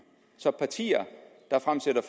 så partier der fremsætter